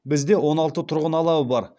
бізде он алты тұрғын алабы бар